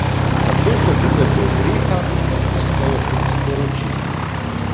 Takoj ko pridem do oreha, zapiskajo tri sporočila.